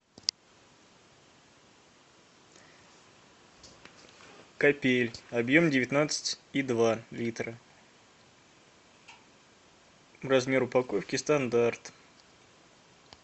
капель объем девятнадцать и два литра размер упаковки стандарт